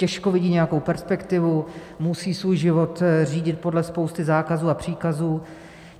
Těžko vidí nějakou perspektivu, musí svůj život řídit podle spousty zákazů a příkazů.